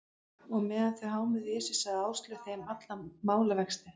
Og meðan þau hámuðu í sig, sagði Áslaug þeim alla málavexti.